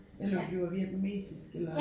Eller vil du have vietnamesisk eller